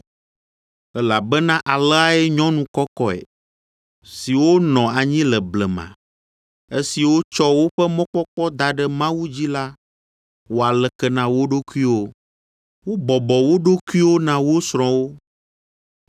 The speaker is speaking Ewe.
Elabena aleae nyɔnu kɔkɔe, siwo nɔ anyi le blema, esiwo tsɔ woƒe mɔkpɔkpɔ da ɖe Mawu dzi la wɔa leke na wo ɖokuiwoe. Wobɔbɔ wo ɖokuiwo na wo srɔ̃wo